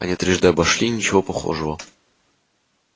они трижды обошли ничего похожего